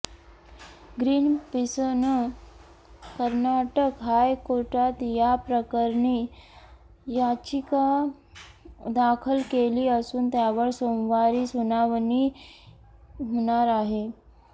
ग्रीनपीसनं कर्नाटक हायकोर्टात या प्रकरणी याचिका दाखल केली असून त्यावर सोमवारी सुनावणी होणार आहे